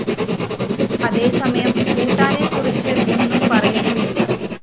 അതേസമയം ഭൂട്ടാനെക്കുറിച്ച് ഒന്നും പറയുന്നുമില്ല